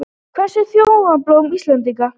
Hvert er þjóðarblóm Íslendinga?